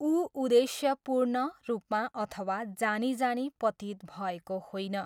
ऊ उद्देश्यपूर्ण रूपमा अथवा जानी जानी पतित भएको होइन।